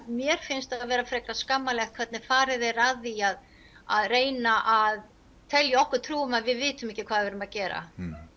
mér finnst skammarlegt hvernig farið er að því að að reyna að telja okkur trú um að við vitum ekki hvað við erum að gera